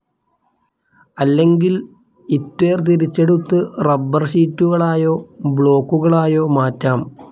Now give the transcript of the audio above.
അല്ലെങ്കിൽഇത്വേർതിരിച്ചെടുത്തു റബ്ബർഷീറ്റുകളായോ, ബ്ലോക്കുകളായോ മാറ്റാം.